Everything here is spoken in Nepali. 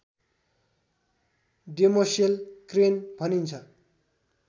डेमोसेल क्रेन भनिन्छ